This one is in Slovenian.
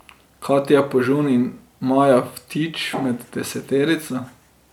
Katja Požun in Maja Vtič med deseterico.